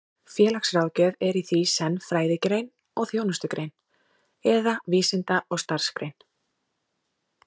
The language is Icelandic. Félagsráðgjöf er því í senn fræðigrein og þjónustugrein, eða vísinda- og starfsgrein.